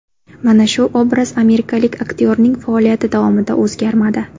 Mana shu obraz amerikalik aktyorning faoliyati davomida o‘zgarmadi.